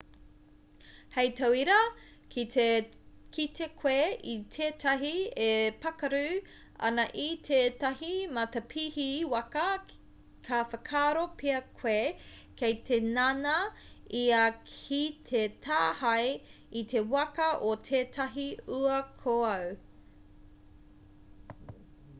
hei tauira ki te kite koe i tētahi e pākaru ana i tētahi matapihi waka ka whakaaro pea koe kei te ngana ia ki te tāhae i te waka o tētahi uakoau